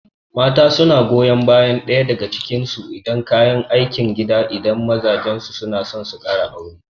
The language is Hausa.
Mata suna goyon bayan ɗaya daga cikin su da kayan aikin gida idan mazajen su suna so su kara aure